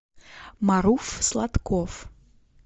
маруф сладков